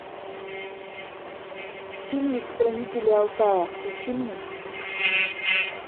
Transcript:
фильмик хранители алтая включи мне